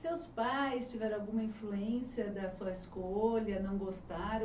Seus pais tiveram alguma influência da sua escolha, não gostaram